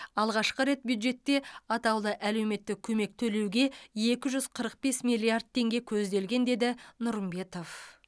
алғашқы рет бюджетте атаулы әлеуметтік көмек төлеуге екі жүз қырық бес миллиард теңге көзделген деді нұрымбетов